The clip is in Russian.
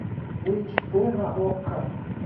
эйч дэ на окко